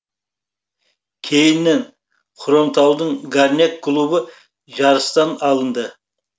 кейіннен хромтаудың горняк клубы жарыстан алынды